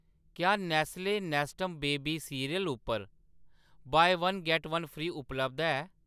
क्या Nestle Nestum baby cereal उप्पर 'buy one get one free' उपलब्ध ऐ ?